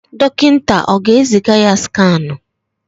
Dọkịta ọ ga-eziga ya skanụ?